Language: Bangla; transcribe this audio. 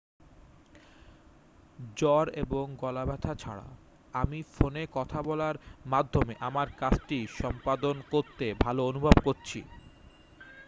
"""জ্বর এবং গলা ব্যথা ছাড়া আমি ফোনে কথা বলার মাধ্যমে আমার কাজটি সম্পাদন করতে ভালো অনুভব করছি।